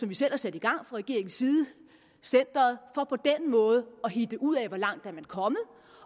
vi selv har sat i gang fra regeringens side centeret for på den måde at hitte ud af hvor langt man er kommet